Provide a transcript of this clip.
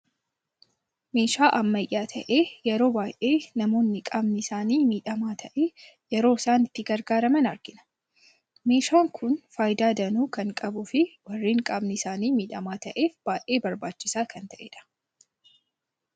Meeshaa Ammayya ta'ee yeroo baay'ee namoonni qaamni isaani miidhama ta'e yeroo isaan ittin gargaraman argina. Meeshaan kun faayida danuu kan qabuu fi warreen qaamni isaanii miidhama ta'eef baay'ee barbaachisa kan ta'edha.